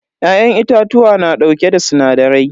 Ya'yan itatuwa na dauke da sinadarai.